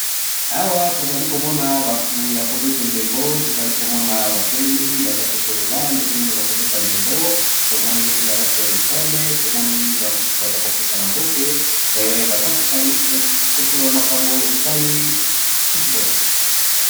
Awa tozali Kona batu Yako beta ndebo tomona balati ba uniforme bazali kosolila Eloko étali football